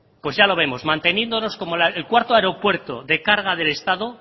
pues ya lo vemos manteniéndonos como el cuarto aeropuerto de carga del estado